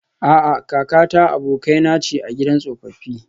A'a, kakata abokaina ce a gidan tsofaffi